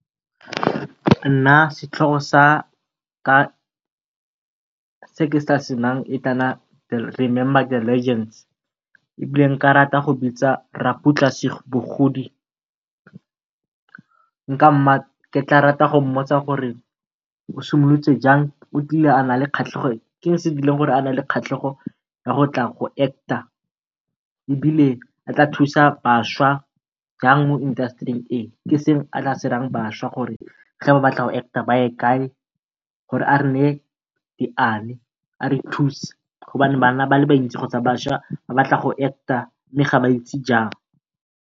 Nna setlhogo sa ka se nkase nayang e ka nna Remember The Legends. Ebile nka rata go bitsa Raputla Sebogodi, ke tla rata go mmotsa gore o simolotse jang? O kile a nna le kgatlhego, ke eng se se dirileng gore a nne le kgatlhego ya gotla go act-a? Ebile a ka thusa bašwa jang mo indasetering e? Ke eng se a ka batlang go se raya bašwa gore ha ba batla go go act-a baye kae? Gore a re neye diane a re thuse, gonne bana kgotsa bašwa ba le bantsi ba batla go act-a mme ha ba itse jang.